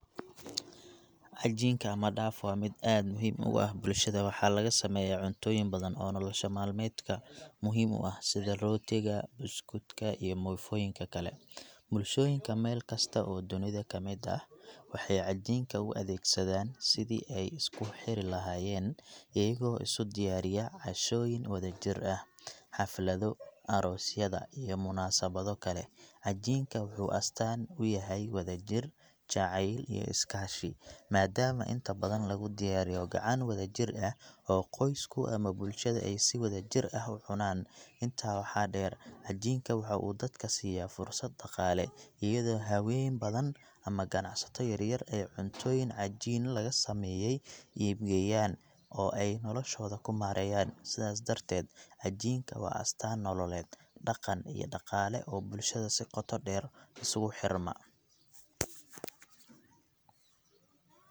Cajiinka ama dough waa mid aad muhiim ugu ah bulshada. Waxaa laga sameeyaa cuntooyin badan oo nolosha meedka muhiim u ah, sida rootiga, buskudka, iyo muufooyinka kale. Bulshooyinka meel kasta oo dunida ka mid ah waxay cajiinka u adeegsadaan sidii ay isku xiri lahaayeen, iyagoo isu diyaariya cashooyin wadajir ah, xaflado, aroosyada, iyo munaasabado kale. Cajiinka wuxuu astaan u yahay wadajir, jacayl, iyo iskaashi, maadaama inta badan lagu diyaariyo gacan wadajir ah oo qoysku ama bulshada ay si wada jir ah u cunaan. Intaa waxaa dheer, cajiinka waxa uu dadka siiya fursad dhaqaale, iyadoo haween badan ama ganacsato yaryar ay cuntooyin cajiin laga sameeyey iibgeeyaan, oo ay noloshooda ku maareeyaan. Sidaas darteed, cajiinka waa astaan nololeed, dhaqan, iyo dhaqaale oo bulshada si qoto dheer isugu xirma.